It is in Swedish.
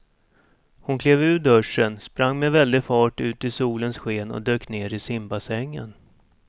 Hon klev ur duschen, sprang med väldig fart ut i solens sken och dök ner i simbassängen.